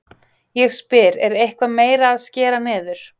Ég spyr, er eitthvað meira að skera niður?